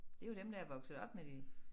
Det jo dem der er vokset op med det